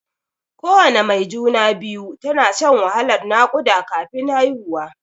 Kowana mai juna-biyu tana shan wahalan naƙuda kafin haihuwa.